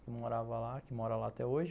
Que morava lá, que mora lá até hoje.